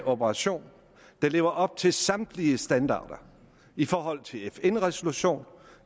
operation der lever op til samtlige standarder i forhold til en fn resolution